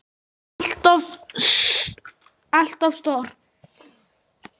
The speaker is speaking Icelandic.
ALLT OF STÓR!